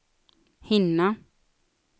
hinna